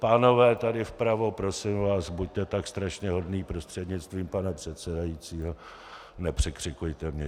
Pánové tady vpravo, prosím vás, buď tak strašně hodní, prostřednictvím pana předsedajícího, nepřekřikujte mě.